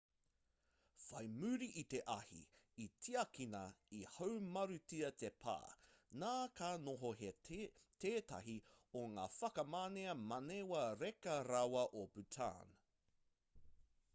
whai muri i te ahi i tiakina i haumarutia te pā nā ka noho hei tētahi o ngā whakamanea manawa reka rawa o bhutan